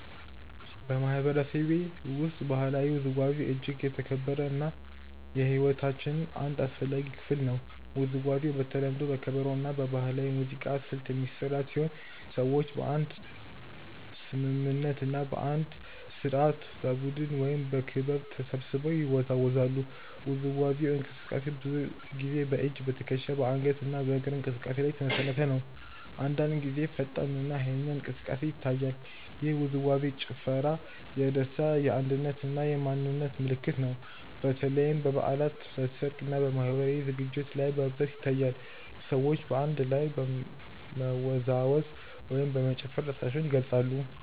በማህበረሰቤ ውስጥ ባህላዊ ውዝዋዜ እጅግ የተከበረ እና የሕይወታችን አንድ አስፈላጊ ክፍል ነው። ውዝዋዜው በተለምዶ በከበሮ እና በባህላዊ ሙዚቃ ስልት የሚመራ ሲሆን ሰዎች በአንድ ስምምነት እና በአንድ ስርዓት በቡድን ወይም በክብ ተሰብስበው ይወዛወዛሉ። የውዝዋዜው እንቅስቃሴ ብዙ ጊዜ በእጅ፣ በትከሻ፣ በአንገት እና በእግር እንቅስቃሴ ላይ የተመሰረተ ነው። አንዳንድ ጊዜ ፈጣን እና ኃይለኛ እንቅስቃሴ ይታያል። ይህ ውዝዋዜ/ ጭፈራ የደስታ፣ የአንድነት እና የማንነት ምልክት ነው። በተለይም በበዓላት፣ በሰርግ እና በማህበራዊ ዝግጅቶች ላይ በብዛት ይታያል። ሰዎች በአንድ ላይ በመወዛወዝ ወይም በመጨፈር ደስታቸውን ይገልጻሉ።